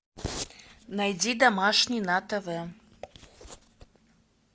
найди домашний на тв